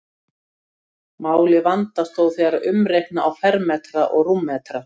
Málið vandast þó þegar umreikna á fermetra og rúmmetra.